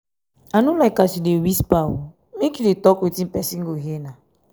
i no like as you dey whisper make you dey tok wetin pesin go hear.